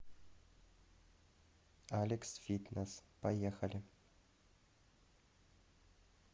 алекс фитнесс поехали